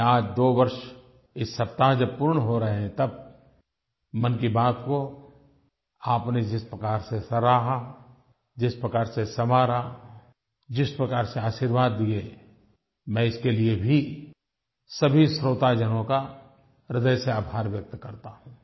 मैं आज 2 वर्ष इस सप्ताह जब पूर्ण हो रहे हैं तब मन की बात को आपने जिस प्रकार से सराहा जिस प्रकार से संवारा जिस प्रकार से आशीर्वाद दिए मैं इसके लिए भी सभी श्रोताजनों का हृदय से आभार व्यक्त करता हूँ